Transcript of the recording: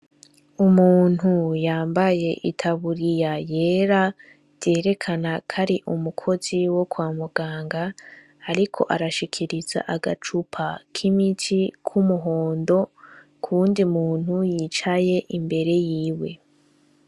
Umuntu yambaye itaburiya yera vyerekana kari umukozi wo kwa muganga ariko arashikiriza agacupa k'imiti k'umuhondo ku wundi muntu yicaye imbere yiwe.